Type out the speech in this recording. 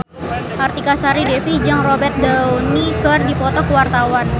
Artika Sari Devi jeung Robert Downey keur dipoto ku wartawan